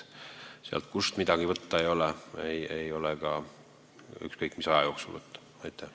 Sealt, kust midagi võtta ei ole, ei ole ükskõik mis aja jooksul mitte midagi võtta.